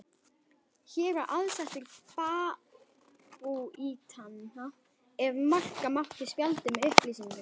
Hér var aðsetur babúítanna, ef marka mátti spjaldið með upplýsingunum.